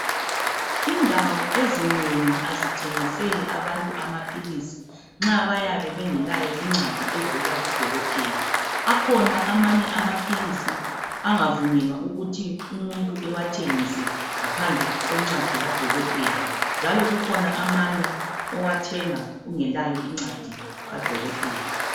Indawo ezinengi azithengiseli abantu amaphilizinxa bayabe bengela incwadi evela kudokotela akhuna amanye amaphilizi angavumelwa ukuthi umuntu ewathengise ngaphandle kwencwadi kadokotela njalo kukhona amanye owathenga loba ungelayo incwadi kadokotela